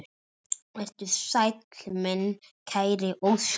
Vertu sæll, minn kæri Óskar.